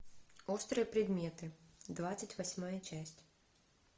острые предметы двадцать восьмая часть